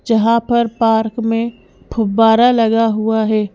जहां पर पार्क में फुब्बारा लगा हुआ है।